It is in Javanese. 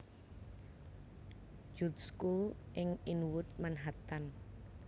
Jude School ing Inwood Manhattan